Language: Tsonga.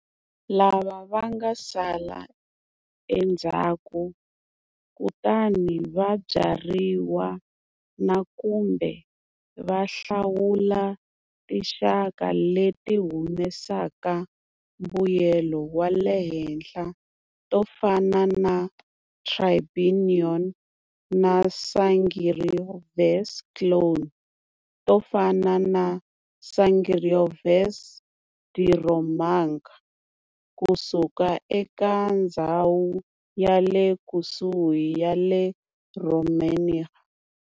Lava vanga sala endzhaku kutani va byariwa nakambe va hlawula tinxaka leti humesaka mbuyelo wale henhla tofana na Trebbiano na Sangiovese clones tofana na"Sangiovese di Romagna" kusuka eka ndzhawu yale kusuhi ya le Romagna.